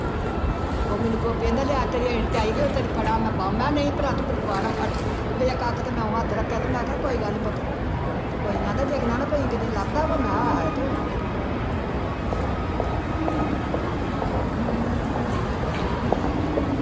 ਉਹ ਮੈਨੂੰ ਗੋਪੀ ਕਹਿੰਦਾ ਲਿਆ ਤੇਰੇ ਝਾਈ ਵੀ ਉਹ ਤੇਰੀ ਫੜਾਂ ਮੈਂ ਬਾਂਹ, ਮੈਂ ਨਹੀਂ ਭਰਾ ਤੂੰ ਮੇਰੀ ਬਾਂਹ ਨਾ ਫੜ, ਉਹ ਫਿਰ ਇੱਕ ਅੱਖ ਤੇ ਮੈਂ ਊਂ ਹੱਥ ਰੱਖਿਆ ਤੇ ਮੈਂ ਕਿਹਾ ਕੋਈ ਗੱਲ ਨੀ ਪੁੱਤ, ਤੂੰ ਕੋਈ, ਕਹਿੰਦਾ ਡਿੱਗ ਨਾ ਨਾ ਪਈ ਕਿਤੇ ਲੱਭਦਾ ਵਾ ਮੈਂ ਕਿਹਾ ਆਹੋ